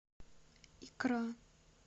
икра